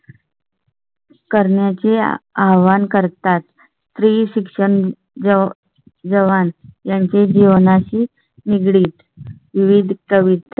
करण्याचे आव्हान करतात. स्त्री शिक्षण, जवळी यांची जीवनाशी निगडीत विविध.